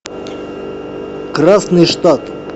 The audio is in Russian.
красный штат